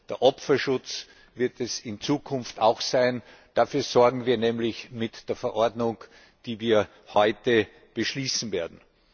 Der Opferschutz wird es in Zukunft auch sein. Dafür sorgen wir nämlich mit der Verordnung, die wir heute beschließen werden.